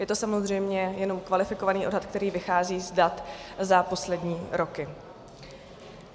Je to samozřejmě jenom kvalifikovaný odhad, který vychází z dat za poslední roky.